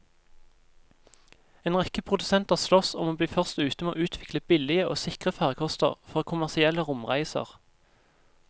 En rekke produsenter sloss om å bli først ute med å utvikle billige og sikre farkoster for kommersielle romreiser.